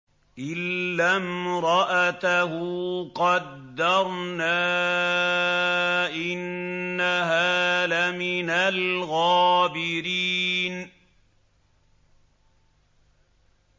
إِلَّا امْرَأَتَهُ قَدَّرْنَا ۙ إِنَّهَا لَمِنَ الْغَابِرِينَ